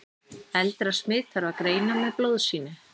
eldra smit þarf að greina með blóðsýni